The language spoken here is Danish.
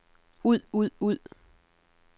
ud ud ud